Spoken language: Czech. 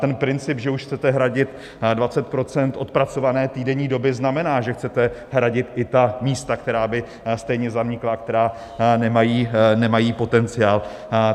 Ten princip, že už chcete hradit 20 % odpracované týdenní doby, znamená, že chcete hradit i ta místa, která by stejně zanikla, která nemají potenciál.